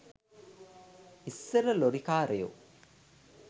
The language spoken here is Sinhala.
ඉස්සර ලොරි කාරයෝ